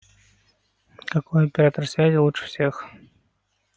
какой оператор связи лучше всех